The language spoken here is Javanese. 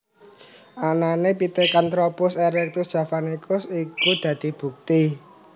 Anané Pithecantropus erectus javanicus iku dadi bukti